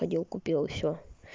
ходил купил и всё